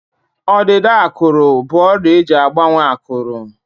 Ọdịda ákụ̀rụ̀ bụ ọrịa eji agbanwe ákụ̀rụ̀.